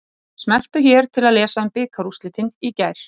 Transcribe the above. Smelltu hér til að lesa um bikarúrslitin í gær.